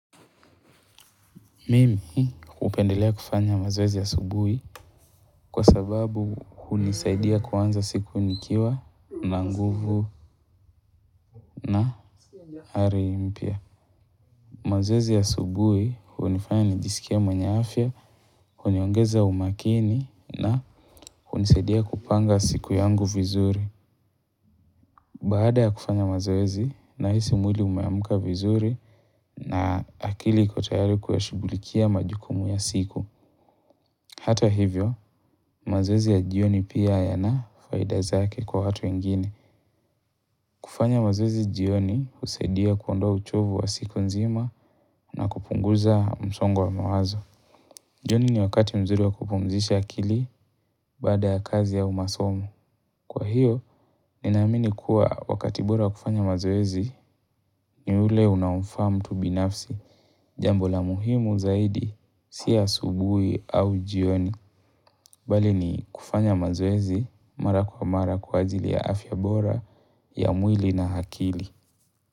Mimi hupendelea kufanya mazoezi asubuhi kwa sababu hunisaidia kuanza siku nikiwa na nguvu na ari mpya. Mazoezi ya asubuhi hunifanya nijisikie mwenye afya, huniongeza umakini na hunisaidia kupanga siku yangu vizuri. Baada ya kufanya mazoezi na hisi mwili umeamka vizuri na akili iko tayari kuyashughulikia majukumu ya siku. Hata hivyo, mazoezi ya jioni pia yanafaida zake kwa watu wengine. Kufanya mazoezi jioni husaidia kuondoa uchovu wa siku nzima na kupunguza msongo wa mawazo. Jioni ni wakati mzuri wa kupumzisha akili baada ya kazi au masomo. Kwa hiyo, ninaamini kuwa wakati bora wa kufanya mazoezi ni ule unaomfa mtu binafsi. Jambo la muhimu zaidi, si asubuhi au jioni. Bali ni kufanya mazoezi mara kwa mara kwa ajili ya afyabora, ya mwili na akili.